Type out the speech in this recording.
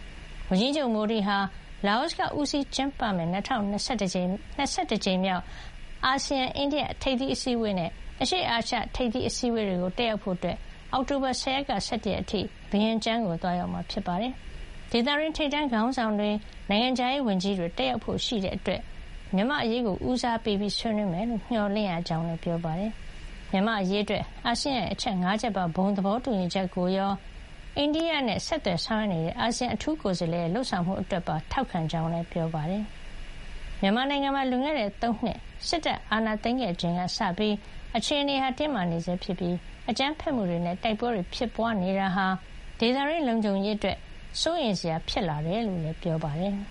။ ဝန်ကြီးချုပ် မိုဒီဟာ အာဆီယံအလှည့်ကျဥက္ကဋ္ဌဖြစ်တဲ့ လာအိုက ဦးစီးကျင်းပမယ့် ၂၁ ကြိမ်မြောက် အာဆီယံ- အိန္ဒိယ ထိပ်သီးအစည်းဝေးနဲ့ အရှေ့အာရှ ထိပ်သီးအစည်းဝေးတွေကိုတက်ရောက်ဖို့ အောက်တိုဘာ ၁၀ ရက်ကနေ ၁၁ ရက်အထိ ဗီယင်ကျန်းကို သွားရောက်မှာ ဖြစ်ပါတယ်။ အရှေ့အာရှ ထိပ်သီးအစည်းဝေးကို ဒေသတွင်း ထိပ်တန်းခေါင်းဆောင်တွေ၊ နိုင်ငံခြားရေးဝန်ကြီးတွေ တက်ရောက်ဖို့ရှိတာကြောင့် မြန်မာ့အရေးကို ဦးစားပေး ဆွေးနွေးမယ်လို့ မျှော်လင့်ရကြောင်းလည်း ပြောပါတယ်။ မြန်မာ့အရေးအတွက် အာဆီယံရဲ့ အချက် ၅ ချက်ပါ ဘုံသဘောတူညီချက်ကိုရော အိန္ဒိယနဲ့ ဆက်သွယ်ဆောင်ရွက်နေတဲ့ အာဆီယံ အထူးကိုယ်စားလှယ်ရဲ့ လုပ်ဆောင်မှုတွေအတွက်ပါ ထောက်ခံကြောင်းလည်း ပြောပါတယ်။ မြန်မာနိုင်ငံမှာ လွန်ခဲ့တဲ့ ၃ နှစ် စစ်တပ်က အာဏာသိမ်းခဲ့ချိန်က စပြီး အခြေနေဟာ တင်းမာနေဆဲ ဖြစ်ပြီး အကြမ်းဖက်မှုတွေနဲ့ တိုက်ပွဲတွေ ဖြစ်ပွါးနေတာဟာ ဒေသတွင်း လုံခြုံရေးအတွက် စိုးရိမ်စရာ ဖြစ်လာတယ်လို့ ပြောပါတယ်။